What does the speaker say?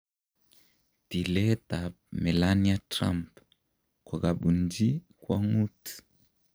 "Tilet ab Melania Trump kokabunji kwong'ut"